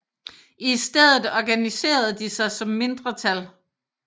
I stedet organiserede de sig som mindretal